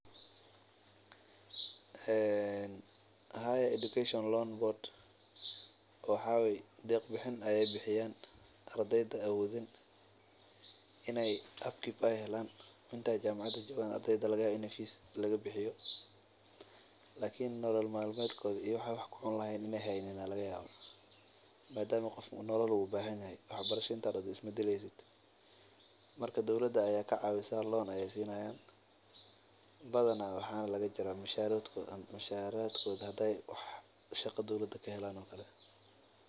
Waxaa waye deeq bixin ayeey bixiyaan inta aay ardeyda joogan jamacada ayaa kacawisa deen ayaa lasiiya badana waxaa laga jaraa musharad kooda hadii aay shaqa helaan camal.